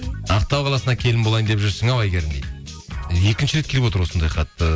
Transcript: ақтау қаласына келін болайын деп жүрсің ау әйгерім дейді екінші рет келіп отыр осындай хат ы